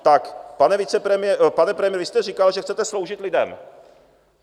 Tak pane premiére, vy jste říkal, že chcete sloužit lidem.